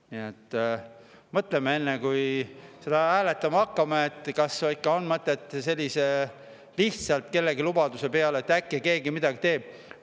Nii et mõtleme enne, kui seda hääletama hakkame, kas ikka on mõtet lihtsalt kellelegi lubaduse peale, et äkki keegi midagi teeb …